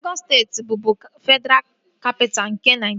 Legọs steeti bụbu Fedraa Kapitaa nke Naịjiria